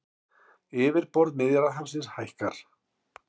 Yfirborð Miðjarðarhafsins hækkar